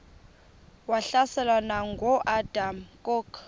wahlaselwa nanguadam kok